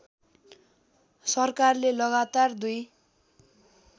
सरकारले लगातार दुई